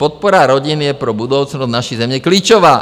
Podpora rodin je pro budoucnost naší země klíčová.